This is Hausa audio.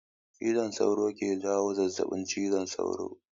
Cizon sauro ke jawo zazabin cizon sauro